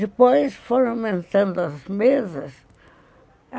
Depois foram aumentando as mesas.